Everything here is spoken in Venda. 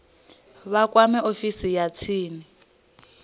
vha kwame ofisi ya tsini